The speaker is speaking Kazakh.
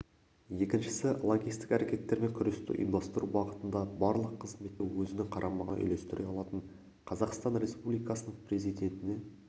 екіншісі лаңкестік әрекеттермен күресті ұйымдастыру бағытында барлық қызметті өзінің қарамағына үйлестіре алатын қазақстан республикасының президентіне